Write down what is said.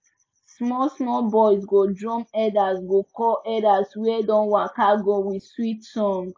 small small boys go drum elders go call elders wey don waka go with sweet song